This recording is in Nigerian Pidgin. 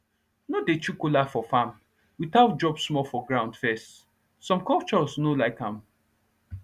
no dey chew kola for farm without drop small for ground first some cultures no like am